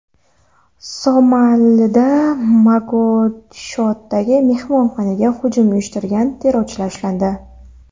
Somalida Mogadishodagi mehmonxonaga hujum uyushtirgan terrorchilar ushlandi.